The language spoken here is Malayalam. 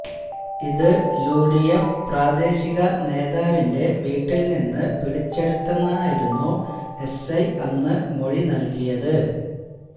ഇത് യുഡിഎഫ് പ്രാദേശിക നേതാവിന്റെ വീട്ടില്നിന്ന് പിടിച്ചെടുത്തെന്നായിരുന്നു എസ്ഐ അന്ന് മൊഴി നല്കിയത്